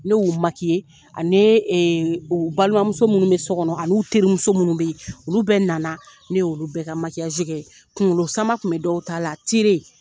Ne y'u ani balimamuso minnu bɛ so kɔnɔ ani terimuso minnu be yen olu bɛɛ nana ne y'olu bɛɛ ka kɛ kunkolo sama kun bɛ dɔw ta la .